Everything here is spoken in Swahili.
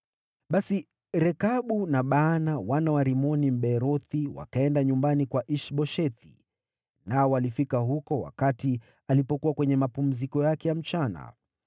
Basi Rekabu na Baana, wana wa Rimoni Mbeerothi wakaenda nyumbani kwa Ish-Boshethi, nao walifika huko wakati alipokuwa kwenye mapumziko yake ya mchana.